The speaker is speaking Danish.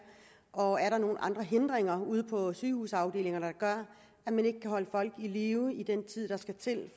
og er nogle andre hindringer ude på sygehusafdelinger der gør at man ikke kan holde folk i live i den tid der skal til